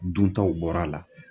Duntaw bɔr'a la